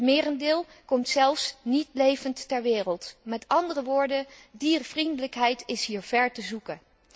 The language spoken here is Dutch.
Het merendeel komt zelfs niet levend ter wereld, met andere woorden diervriendelijkheid is hier ver te zoeken.